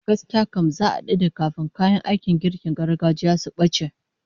Gaskiya kam, za'a dade kafin kayan aikin girkin gargajiya su bace